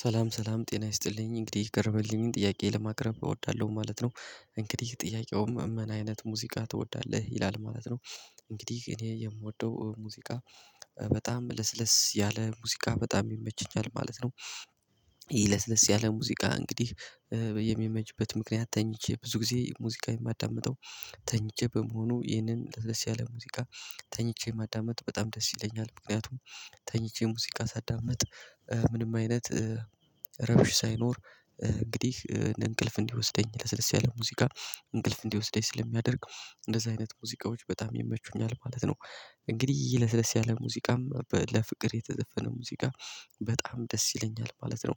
ሰላም ሰላም ጤና ይስጥልኝ እንግዲህ የቀረበልኝን ጥያቄ ለማቅረብ እወዳለሁ ማለት ነው። እንግዲህ ጥያቄውም ምን አይነት ሙዚቃ ትወዳለህ ይላል ማለት ነው? እንግዲህ እኔ የምወደው ሙዚቃ በጣም ለስለስ ያለ ሙዚቃ በጣም ይመችኛል ማለት ነው። ይሄ ለስለስ ያለ ሙዚቃ እንግዲህ በየሚመችበት ምክንያት ተኝቼ ብዙ ጊዜ ሙዚቃ የማዳምጠው። ተኝቼ በመሆኑ ይህንን ለስለስ ያለ ሙዚቃ ተኝቼ ማዳመጥ በጣም ደስ ይለኛል። ምክንያቱም ተኝቼ ሙዚቃ ሳዳምጥ ምንም አይነት ሰላም ሰላም ጤና ይስጥልኝ እንግዲህ የቀረበልኝን ጥያቄ ለማቅረብ እወዳለሁ ማለት ነው እንግዲህ ጥያቄውም ምን አይነት ሙዚቃ ትወዳለህ ይላል ማለት ነው እንግዲህ እኔ የምወደው ሙዚቃ በጣም ለስለስ ያለ ሙዚቃ በጣም ይመችኛል ማለት ነው። ይሄ ለስለስ ያለ ሙዚቃ እንግዲህ በየሚመጅበት ምክንያት ተኝቼ። ብዙ ጊዜ ሙዚቃ የማዳምጠው ተኝቼ በመሆኑ ይህንን ለደስ ያለ ሙዚቃ ተኝቼ ማዳመጥ በጣም ደስ ይለኛል ምክንያቱም ተኝቼ ሙዚቃ ሳዳምጥ ምንም አይነት ረቢሽ ሳይኖር። እንግዲህ እንቅልፍ እንዲወስደኝ ለስለስ ያለ ሙዚቃ እንቅልፍ እንዲወስደኝ ስለሚያደርግ እንደዚህ አይነት ሙዚቃዎች በጣም ይመቹኛል ማለት ነው። እንግዲህ ለስለስ ያለ ሙዚቃም ለፍቅር የተዘፈነ ሙዚቃ በጣም ደስ ይለኛል ማለት ነው።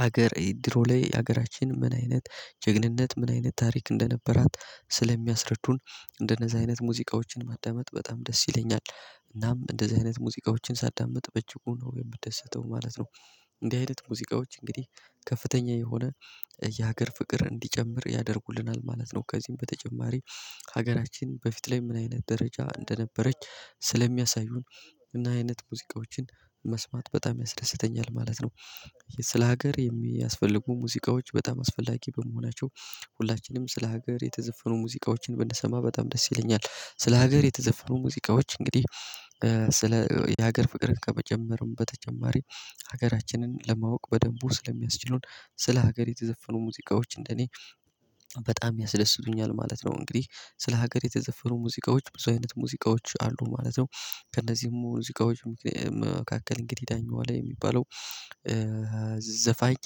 ሀገር ድሮ ላይ የሀገራችን ምን አይነት ጀግንነት ምን አይነት ታሪክ እንደነበራት ስለሚያስረዱን እንደነዚህ አይነት ሙዚቃዎችን ማዳመጥ በጣም ደስ ይለኛል። እናም እንደዚህ አይነት ሙዚቃዎችን ሳዳምጥ በእጅጉ ነው የምደሰተው ማለት ነው። እንዲህ አይነት ሙዚቃዎች እንግዲህ ከፍተኛ የሆነ የሀገር ፍቅር እንዲጨምር ያደርጉልናል ማለት ነው። ከዚህም በተጨማሪ ሀገራችን በፊት ላይ ምን አይነት ደረጃ እንደነበረች ስለሚያሳዩን እና ይህ አይነት ሙዚቃዎችን መስማት በጣም ያስደስተኛል ማለት ነው። ስለ ሀገር የሚያስፈልጉ ሙዚቃዎች በጣም አስፈላጊ በመሆናቸው ሁላችንም ስለ ሀገር የተዘፈኑ ሙዚቃዎችን ብንሰማ በጣም ደስ ይለኛል። ስለ ሀገር የተዘፈኑ ሙዚቃዎች እንግዲህ ስለ የሀገር ፍቅርን ከመጀመሩም በተጨማሪ ሀገራችንን ለማወቅ በደንቡ ስለሚያስችሉን ስለ ሀገር የተዘፈኑ ሙዚቃዎች እንደኔ በጣም ያስደስቱኛል ማለት ነው። እንግዲህ ስለ ሀገር የተዘፈኑ ሙዚቃዎች ብዙ አይነት ሙዚቃዎች አሉ ማለት ነው። ከእነዚህም ሙዚቃዎች መካከል እንግዲህ ዳኜ ዋለ የሚባለው ዘፋኝ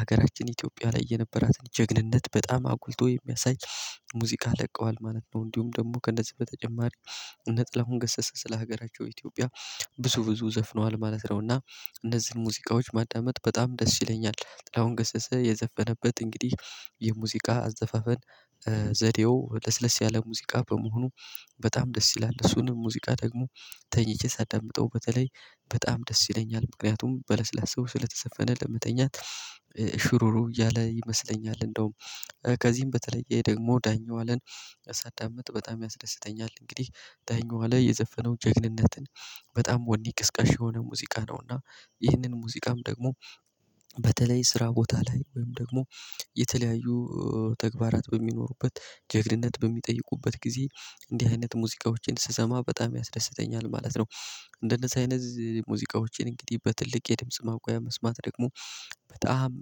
ሀገራችን ኢትዮጵያ ላይ የነበራትን ጀግንነት በጣም አጉልቶ የሚያሳይ ሙዚቃ ለቀዋል። ማለት ነው እንዲሁም ደግሞ ከእነዚህ በተጨማሪ እነ ጥላሁን ገሰሰ ስለ ሀገራቸው ኢትዮጵያ ብዙ ብዙ ዘፍነዋል ማለት ነው። እና እነዚህን ሙዚቃዎች ማዳመጥ በጣም ደስ ይለኛል። ጥላሁን ገሰሰ የዘፈነበት እንግዲህ የሙዚቃ አዘፋፈን ዘዴው ለስለስ ያለ ሙዚቃ በመሆኑ በጣም ደስ ይላል እሱንም ሙዚቃ ደግሞ ተኝቼ ሳዳምጠው በተለይ በጣም ደስ ይለኛል። ምክንያቱም በለስላሳው ስለተዘፈነ ለመተኛት ሽሩሩ እያለ ይመስለኛል። እንደውም ከዚህም በተለየ ደግሞ ዳኜ ዋለን ሳዳምጥ በጣም ያስደስተኛል። እንግዲህ ዳኜ ዋለ የዘፈነው ጀግንነትን በጣም ወኔ ቀስቃሽ የሆነ ሙዚቃ ነው። እና ይህንን ሙዚቃም ደግሞ በተለይ ስራ ቦታ ላይ ወይም ደግሞ የተለያዩ ተግባራት በሚኖሩበት ጀግንነት በሚጠይቁበት ጊዜ እንዲህ አይነት ሙዚቃዎችን ስሰማ በጣም ያስደስተኛል ማለት ነው። እንደነዚህ አይነት ሙዚቃዎችን እንግዲህ በትልቅ የድምጽ ማጉያ መስማት ደግሞ በጣም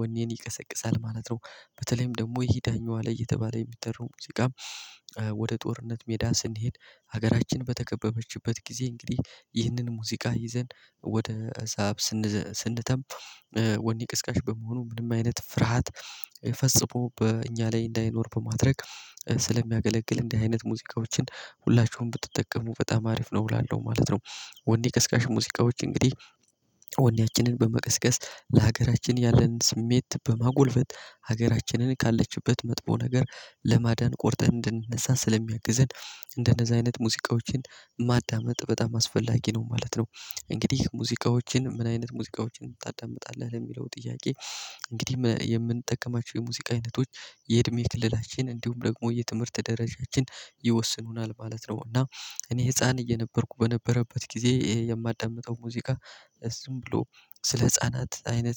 ወኔን ይቀሰቅሳል ማለት ነው። በተለይም ደግሞ ይሄ ዳኜ ላይ እየተባለ የሚጠራው ሙዚቃ። ወደ ጦርነት ሜዳ ስንሄድ ሀገራችን በተከበበችበት ጊዜ እንግዲህ ይህንን ሙዚቃ ይዘን ወደ እሳብ ስንተም ወኔ ቀስቃሽ በመሆኑ ምንም አይነት ፍርሃት ፈጽሞ በእኛ ላይ እንዳይኖር በማድረግ ስለሚያገለግል እንደ አይነት ሙዚቃዎችን ሁላችሁም ብትጠቀሙ በጣም አሪፍ ነው እላለሁ ማለት ነው። ወኔ ቀስቃሽ ሙዚቃዎች እንግዲህ ወኔያችንን በመቀስቀስ ለሀገራችን ያለንን ስሜት በማጎልበት ሀገራችንን ካለችበት መጥፎ ነገር ለማዳን ቆርጠን እንድንነሳን ስለሚያግዝን እንደነዛ አይነት ሙዚቃዎችን ማዳመጥ በጣም አስፈላጊ ነው ማለት ነው። እንግዲህ ሙዚቃዎችን ምን አይነት ሙዚቃዎችን ታዳምጣለህ? ለሚለው ጥያቄ እንግዲህ የምንጠቀማቸው የሙዚቃ አይነቶች የእድሜ ክልላችን እንዲሁም ደግሞ የትምህርት ደረጃችን ይወስኑናል ማለት ነው። እና እኔ ህፃን እየነበርኩ በነበረበት ጊዜ የምጣምጠው ሙዚቃ ዝም ብሎ ስለ ህፃናት አይነት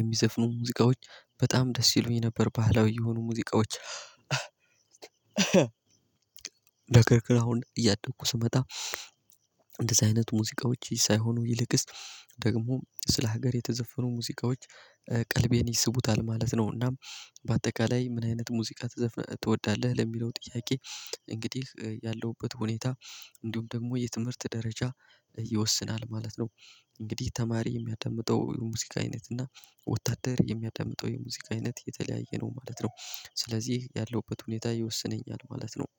የሚዘፍኑ ሙዚቃዎች በጣም ደስ ይሉኝ ነበር። ባህላዊ የሆኑ ሙዚቃዎች። ነገር ክር አሁን እያደኩ ስመጣ። እንደዚህ አይነት ሙዚቃዎች ሳይሆኑ ይልቅስ ደግሞ ስለ ሀገር የተዘፈኑ ሙዚቃዎች ቀልቤን ይስቡታል ማለት ነው። እና፥ በአጠቃላይ ምን አይነት ሙዚቃ ትወዳለህ? ለሚለው ጥያቄ እንግዲህ ያለሁበት ሁኔታ እንዲሁም ደግሞ የትምህርት ደረጃ ይወስናል ማለት ነው። እንግዲህ ተማሪ የሚያዳምጠው የሙዚቃ አይነት እና ወታደር የሚያዳምጠው የሙዚቃ አይነት የተለያየ ነው ማለት ነው። ስለዚህ ያለውበት ሁኔታ ይወስነኛል ማለት ነው።